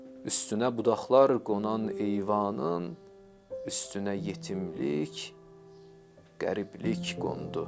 Üstünə budaqlar qonan eyvanın üstünə yetimlik, qəriblik qondu.